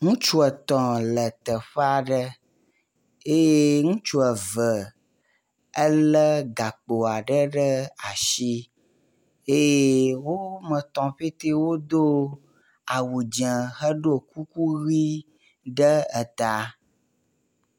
Ŋutsu etɔ̃ le teƒe aɖe eye ŋutsu eve ele gakpo aɖe ɖe asi eye wɔme etɔ̃ pɛte wodo awu dze heɖo kuku ʋi ɖe eta